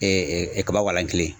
kaba walan kelen.